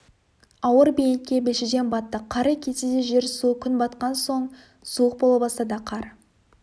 ауыр бейнетке белшеден баттық қары кетсе де жер су күн батқан соң суық бола бастады қар